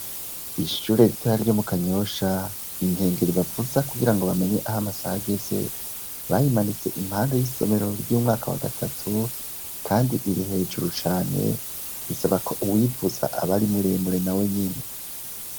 Kwishure ritoya ryo mukanyosha inkengeri bavuza kugira ngo bamenye aho amasaha ageze bayimanitse impande y'isomero ry'umwanaka wa gatatu kandi iri hejuru cane bisaba ko uwuyivuza aba ari muremure nawenyene.